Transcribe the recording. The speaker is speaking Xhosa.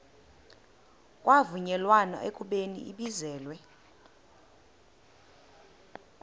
kwavunyelwana ekubeni ibizelwe